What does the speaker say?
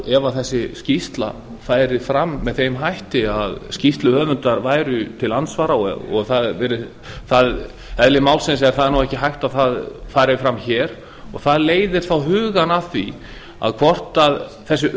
ef þessi skýrsla færi fram með þeim hætti að skýrsluhöfundar væru til andsvara eðli málsins samkvæmt er ekki hægt að það fari fram hér það leiðir þá hugann að því hvort þessi